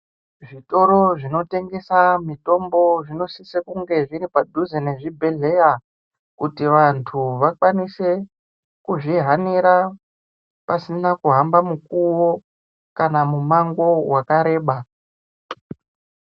Zvitoro zvinotengesa mitombo zvinosisa kunga zviri padhuze nezvibhedhleya kuti vantu vakwanise kuzvihanira pasina kuhamba mukuwo kana mumango wakareba.